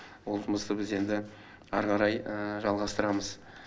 ол жұмысты біз енді ары қарай жалғастырамыз